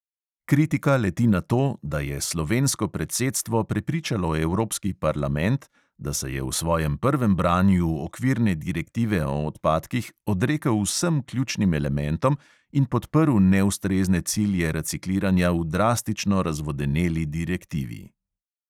Kritika leti na to, "da je slovensko predsedstvo prepričalo evropski parlament, da se je v svojem prvem branju okvirne direktive o odpadkih odrekel vsem ključnim elementom in podprl neustrezne cilje recikliranja v drastično razvodeneli direktivi".